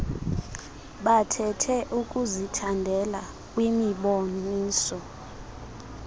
bathethe ukuzithandela kwimiboniso